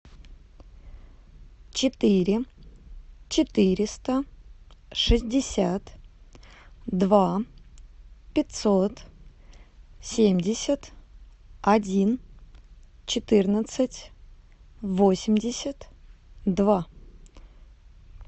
четыре четыреста шестьдесят два пятьсот семьдесят один четырнадцать восемьдесят два